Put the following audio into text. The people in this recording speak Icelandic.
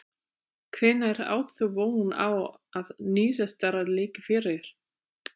Hvenær átt þú von á að niðurstaða liggi fyrir?